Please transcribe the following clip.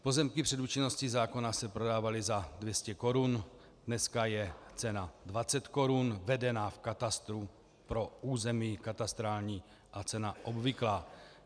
Pozemky před účinností zákona se prodávaly za 200 korun, dneska je cena 20 korun vedena v katastru pro území katastrální a cena obvyklá.